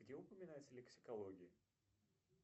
где упоминается лексикология